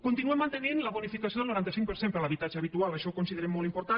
continuem mantenint la bonificació del noranta cinc per cent per l’habitatge habitual això ho considerem molt important